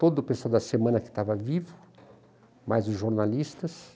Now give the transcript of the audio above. Todo o pessoal da semana que estava vivo, mais os jornalistas.